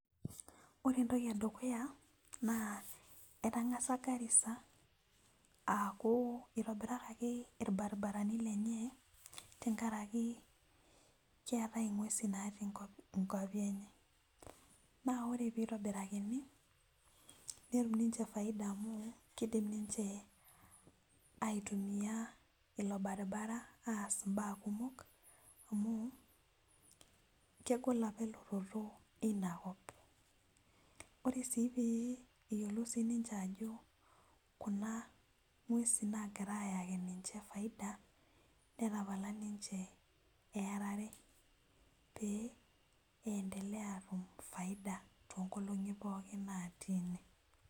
Ore entoki edukuya na etangasa garisa aaku itobirakaki irbaribarani lenye tenkaraki keetae ngwesin natii nkwapi enye na ore pitobirakaki netumbninche saida amu kidim aitumia irbaribarani aas imbaa kumok amu kegol apa elototo inakop ore na peyiolou sinche ajo kuna ngwesin nagira ayaki ninche faida netapala ninche earare petumoki atum faida tonkolongi pookin natii ene.